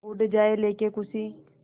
उड़ जाएं लेके ख़ुशी